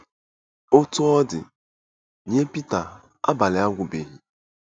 Otú ọ dị, nye Pita, abalị agwụbeghị.